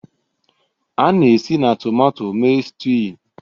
A na-esi na tomato mee stewing